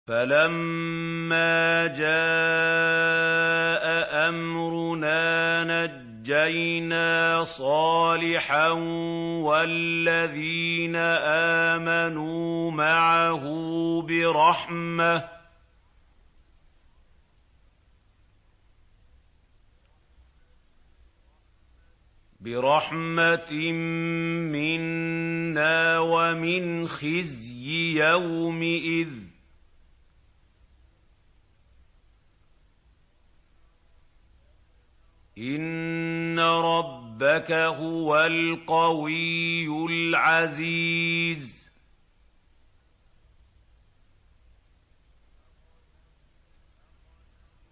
فَلَمَّا جَاءَ أَمْرُنَا نَجَّيْنَا صَالِحًا وَالَّذِينَ آمَنُوا مَعَهُ بِرَحْمَةٍ مِّنَّا وَمِنْ خِزْيِ يَوْمِئِذٍ ۗ إِنَّ رَبَّكَ هُوَ الْقَوِيُّ الْعَزِيزُ